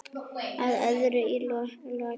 Að öðru í lokin.